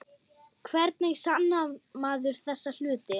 Hvernig sannar maður þessa hluti?